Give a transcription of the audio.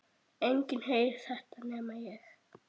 Enginn heyrir þetta nema ég.